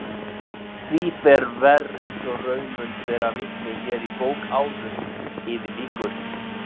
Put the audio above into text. Því fer verr eins og raun mun bera vitni hér í bók áður yfir lýkur.